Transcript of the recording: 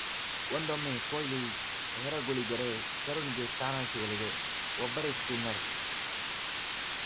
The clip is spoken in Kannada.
ಒಂದೊಮ್ಮೆ ಕೊಹ್ಲಿ ಹೊರಗುಳಿದರೆ ಕರುಣ್‌ಗೆ ಸ್ಥಾನ ಸಿಗಲಿದೆ ಒಬ್ಬರೇ ಸ್ಪಿನ್ನರ್‌